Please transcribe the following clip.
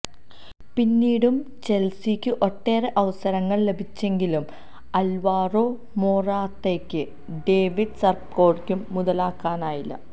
പിന്നീടും ചെല്സിക്കും ഒട്ടേറെ അവസരങ്ങള് ലഭിച്ചെങ്കിലും അല്വാരോ മൊറാത്തയ്ക്കും ഡേവിഡ് സപ്പക്കോസ്റ്റയ്ക്കും മുതലാക്കാനായില്ല